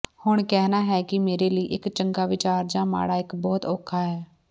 ਹੁਣ ਕਹਿਣਾ ਹੈ ਕਿ ਮੇਰੇ ਲਈ ਇੱਕ ਚੰਗਾ ਵਿਚਾਰ ਜਾਂ ਮਾੜਾ ਇੱਕ ਬਹੁਤ ਔਖਾ ਹੈ